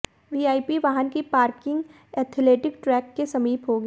VIP वाहन की parking athletic track के समीप होगी